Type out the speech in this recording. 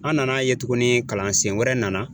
An nan'a ye tuguni kalansen wɛrɛ nana.